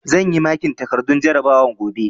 Zan yi makin takardun jarabawar gobe